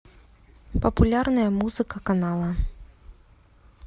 популярная музыка канала